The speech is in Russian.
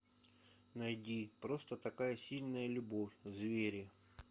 найди просто такая сильная любовь звери